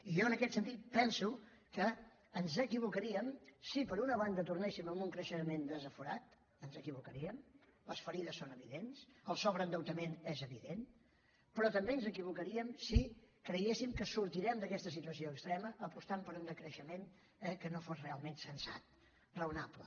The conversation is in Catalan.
i jo en aquest sentit penso que ens equivocaríem si per una banda tornéssim a un creixement desaforat ens equivocaríem les ferides són evidents el sobreendeutament és evident però també ens equivocaríem si creguéssim que sortirem d’aquesta situació extrema apostant per un decreixement que no fos realment sensat raonable